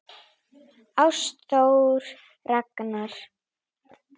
Ástþór Ragnar.